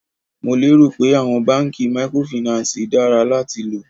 Mo lé rò pé àwọn báńkì mikorofìnánsìì dára láti lò.